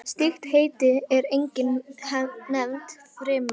Slíkt heiti er einnig nefnt firma.